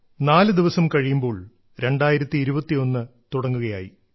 നാലുദിവസം കഴിയുമ്പോൾ 2021 തുടങ്ങുകയായി